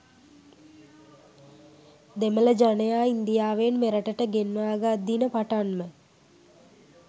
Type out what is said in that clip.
දෙමළ ජනයා ඉන්දියාවෙන් මෙරටට ගෙන්වාගත් දින පටන්ම